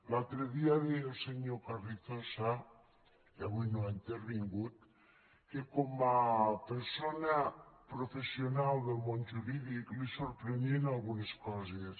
l’altre dia deia el senyor carrizosa que avui no ha intervingut que com a persona professional del món jurídic li sorprenien algunes coses